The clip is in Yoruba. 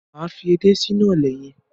Máa fi edé sínú ọ̀lẹ̀ yẹn.